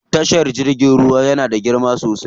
Tashar jirgin ruwa yana da girma sosai.